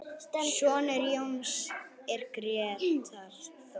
Sonur Jóns er Grétar Þór.